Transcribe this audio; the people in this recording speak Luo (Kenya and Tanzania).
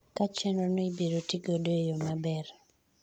ka chenro no ibiro tigodo eyo maber